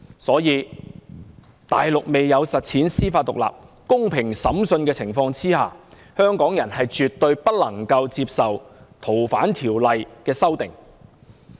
所以，在大陸未有實踐司法獨立、公平審訊的情況下，香港人絕對不能夠接受《條例》的修訂。